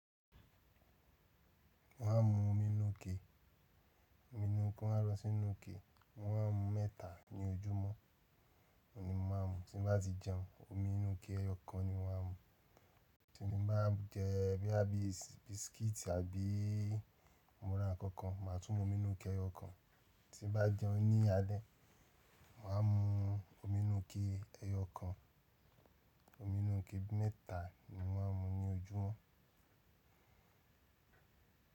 Mo máà ń mu omi inú ike. Omi inú ti won ro sínú ike. Mo máà ń mu mẹ́ta ní ojúmọ́. Oun ni mo máà ń mu. Tí bá ti jẹun, omi inú ike ẹyọ kan ni mo máà ń mu. Tí mo bá jẹ bí i bisikíìtì àbí mọ́ra kankan, màá tún mu omi inú ike ẹyọ kan. Tí mo bá jẹun ní alé, màá mu omi inú ike ẹyọ kan. Omi inú ike mẹ́ta ni mo máà ń mu ní ojúmọ́.